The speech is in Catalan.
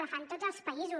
la fan tots els països